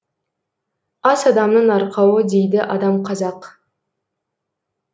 ас адамның арқауы дейді адам қазақ